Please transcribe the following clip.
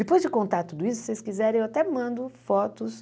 Depois de contar tudo isso, se vocês quiserem, eu até mando fotos.